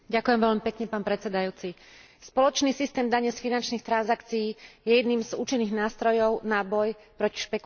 Spoločný systém dane z finančných transakcií je jedným z účinných nástrojov na boj proti špekuláciám, ale aj na prekonanie krízy.